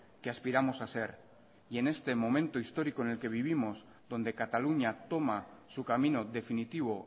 que aspiramos a ser y en este momento histórico en el que vivimos donde cataluña toma su camino definitivo